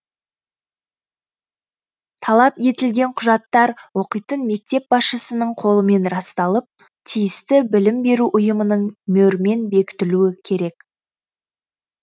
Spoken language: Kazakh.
талап етілген құжаттар оқитын мектеп басшысының қолымен расталып тиісті білім беру ұйымының мөрімен бекітілуі керек